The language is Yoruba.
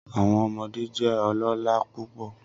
Awọn ọmọde jẹ ọlọla pupọ